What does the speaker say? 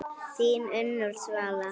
Þín Unnur Svala.